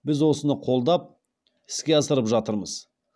біз осыны қолдап іске асырып жатырмыз